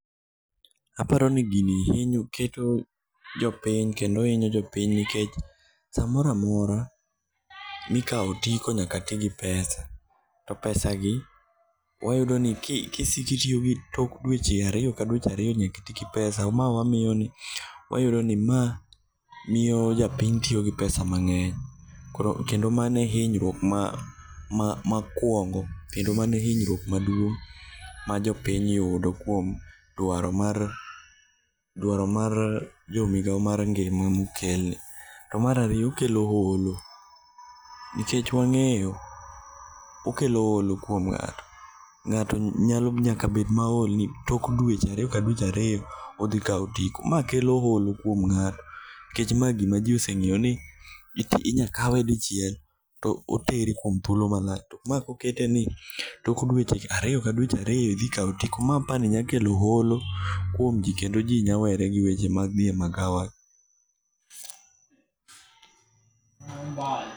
Aparoni gini keto jopiny kendo inyo jopiny nikech samoramora mikao otiko nyaka tii gi pesa to pesagi wayudoni kisiko itiyogo tok dueche ariyo ka dueche ariyo nyaka itigi pesa. Maa wamiyo wayudoni maa miyo japiny tiyogi pesa mang'eny. Kendo mano e inyruok mokuongo kendo mano e hinyruok maduong' majopiny yudo kuom dwaro mar jomigao mar ngima mokel. Mar ariyo okelo olo nikech wang'eyo okelo olo kuom ng'ato.Ng'ato nyaka bet mool nikech tok dueche ariyo ka dueche ariyo odhikao otiko. Maa kelo olo kuom ng'ato nikech maa gima jii oseng'eyo ni inyakawe dichiel to oteri kuom thuolo malach. Maa koketeni tok dueche ariyo ka dueche ariyo idhikao otiko. Maa apani nyakelo olo kuom jii kendo jii nyalowere gi weche mag dhi e magawa.